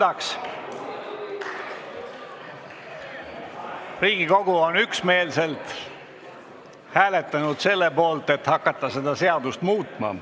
Hääletustulemused Riigikogu on üksmeelselt hääletanud selle poolt, et seda seadust hakatakse muutma.